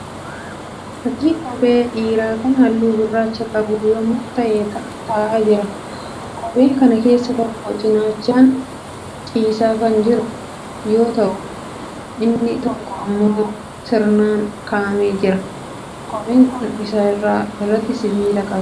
Fakkii kophee dhiiraa kan halluu gurraacha qabu lama ta'ee ta'aa jiruudha. Kophee kana keessaa tokko cinaachaan ciisaa kan jiru yoo ta'u inni tokko immoo sirnaan ka'aamee jira. Kopheen kun irra isaa irraatii sibiila qaba.